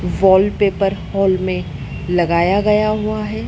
Wallpaper hall में लगाया गया हुआ है।